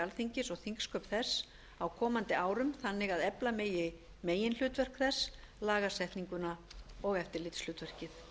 alþingis og þingsköp þess á komandi árum þannig að efla megi meginhlutverk þess lagasetninguna og eftirlitshlutverkið